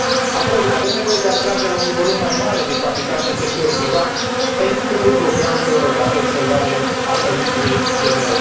apoi avem nevoie de atragerea unui volum mai mare de capital din sectorul privat, pentru programul european de observare a Pământului GMES